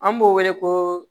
An b'o wele ko